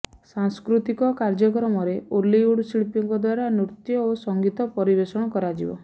ସାଂସ୍କୃତିକ କାର୍ଯ୍ୟକ୍ରମରେ ଓଲିଉଡ୍ ଶିଳ୍ପୀଙ୍କ ଦ୍ବାରା ନୃତ୍ୟ ଓ ସଂଗୀତ ପରିବେଷଣ କରାଯିବ